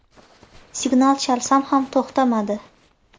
Signal chalsam ham to‘xtamadi.